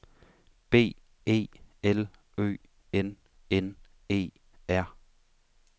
B E L Ø N N E R